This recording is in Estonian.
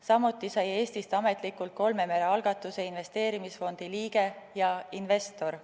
Samuti sai Eestist ametlikult kolme mere algatuse investeerimisfondi liige ja investor.